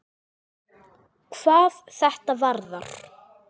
hvað þetta varðar.